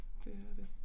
Det er det